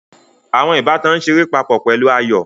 Àwọn ìbátan ń ṣeré papọ̀ pẹ̀lú ayò